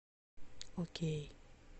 окей